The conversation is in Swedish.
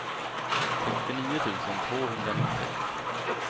sextionio tusen tvåhundranittiosex